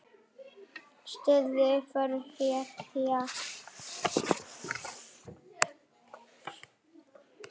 Styðja, uppörva og hvetja.